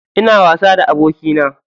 Ina wasa da abokina.